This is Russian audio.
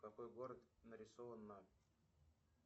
какой город нарисован на